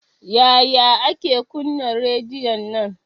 Yaya ake kuna rediyon nan?